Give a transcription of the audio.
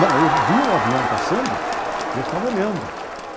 Não, eu via um avião passando e eu ficava olhando.